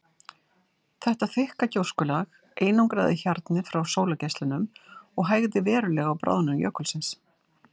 Þetta þykka gjóskulag einangraði hjarnið frá sólargeislunum og hægði verulega á bráðnun jökulsins.